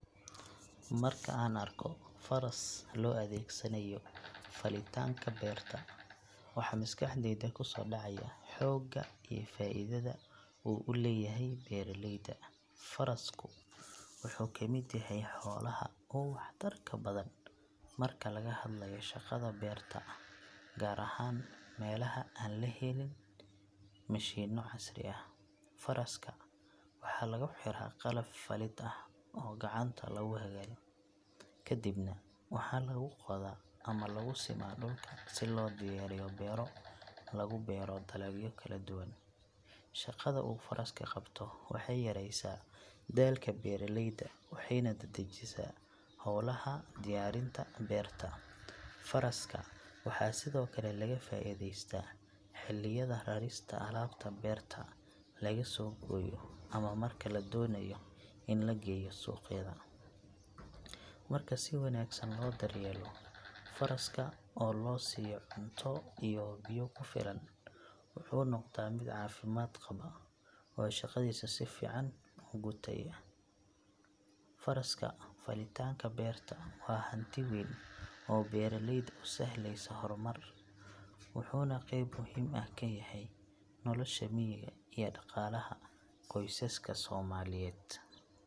Marka aan arko faras loo adeegsanayo falitaanka beerta, waxa maskaxdayda ku soo dhacaya xoogga iyo faa’iidada uu u leeyahay beeraleyda. Farasku wuxuu ka mid yahay xoolaha ugu waxtarka badan marka laga hadlayo shaqada beerta gaar ahaan meelaha aan la helin mishiinno casri ah. Faraska waxaa lagu xiraa qalab falid ah oo gacanta lagu hagayo kadibna waxaa lagu qodaa ama lagu simaa dhulka si loo diyaariyo beero lagu beero dalagyo kala duwan. Shaqada uu farasku qabto waxay yareysaa daalka beeraleyda waxayna dedejisaa howlaha diyaarinta beerta. Faraska waxaa sidoo kale laga faa’iidaystaa xilliyada rarista alaabta beerta laga soo gooyo ama marka la doonayo in la geeyo suuqyada. Marka si wanaagsan loo daryeelo faraska oo loo siiyo cunto iyo biyo ku filan, wuxuu noqdaa mid caafimaad qaba oo shaqadiisa si fiican u gutaya. Faraska falitaanka beerta waa hanti weyn oo beeraleyda u sahlaya horumar, wuxuuna qeyb muhiim ah ka yahay nolosha miyiga iyo dhaqaalaha qoysaska Soomaaliyeed.